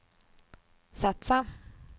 satsa